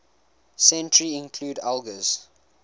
century include elgar's